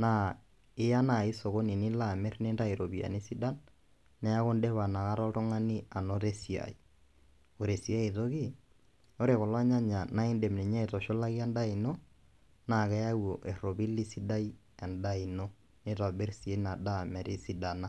naa iya nai sokoni nilo amir , nintayu iropiyiani sidan , niaku indipa inakata oltungani anoto esiai. Ore sii ae toki , ore kulo nyanya naa indim ninye aitushulaki endaa ino naa keyau eropili sidai endaa ino , nitobir sii ina daa metisidana.